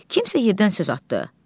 Kimsə yerdən söz atdı.